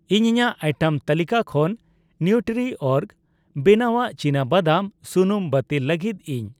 ᱤᱧ ᱤᱧᱟᱜ ᱟᱭᱴᱮᱢ ᱛᱟᱹᱞᱤᱠᱟ ᱠᱷᱚᱱ ᱱᱤᱣᱴᱨᱤᱚᱨᱜ ᱵᱮᱱᱟᱣᱟᱜ ᱪᱤᱱᱟᱵᱟᱫᱟᱢ ᱥᱩᱱᱩᱢ ᱵᱟᱹᱛᱤᱞ ᱞᱟᱹᱜᱤᱫ ᱤᱧ ᱾